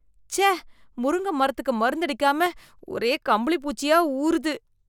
ச்சே, முருங்க மரத்துக்கு மருந்து அடிக்காம ஒரே கம்பளி பூச்சியா ஊருது.